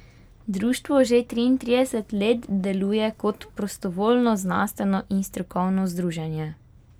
Društvo že triintrideset let deluje kot prostovoljno znanstveno in strokovno združenje.